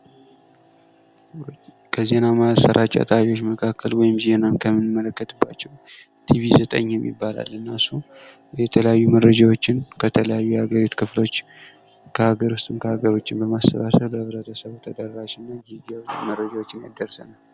ከዜና ማሰራጫ ጣቢያዎች መካከል ወይም ዜናን ከምንመለከትባቸው ቲቪ ዘጠኝ የሚባል አለ:: እና እሱም የተለያዩ መረጃዎችን ከተለያዩ የሀገሪቱ ክፍሎች ከሀገር ዉስጥም ከሀገር ዉጭም በማሰባሰብ በህብረተሰቡ ተደራሽ እና ጊዜያዊ መረጃዎችን ያደርሰናል::